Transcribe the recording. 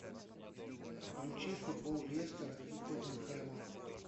включи футбол лестера и тоттенхэма